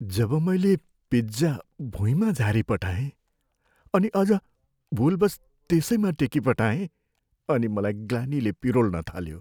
जब मैले पिज्जा भुइँमा झारीपठाएँ अनि अझ भुलवश् त्यसैमा टेकिपठाएँ अनि मलाई ग्लानीले पिरोल्न थाल्यो।